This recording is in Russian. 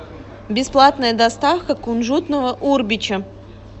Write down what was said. бесплатная доставка кунжутного урбича